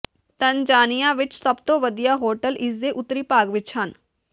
Tanzania ਵਿੱਚ ਸਭ ਤੋਂ ਵਧੀਆ ਹੋਟਲ ਇਸਦੇ ਉੱਤਰੀ ਭਾਗ ਵਿੱਚ ਹਨ